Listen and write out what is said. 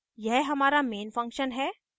यह हमारा main function है